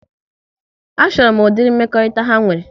A chọrọ m ụdịrị mmekọrịta ha nwere